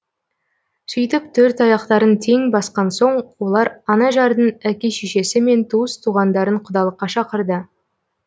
сөйтіп төрт аяқтарын тең басқан соң олар анажардың әке шешесі мен туыс туғандарын құдалыққа шақырды